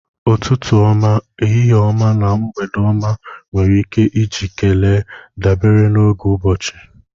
Ututu ọma, ehihie ọma na mgbede ọma nwere ike iji kelee dabere n'oge ụbọchị